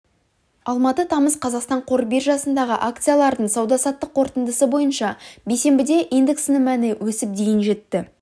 алматы тамыз қазақстан қор биржасындағы акциялардың сауда-саттық қорытындысы бойынша бейсенбіде индексінің мәні өсіп дейін жетті